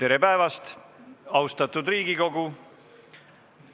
Tere päevast, austatud Riigikogu!